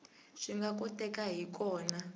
swi nga kotekaka hi kona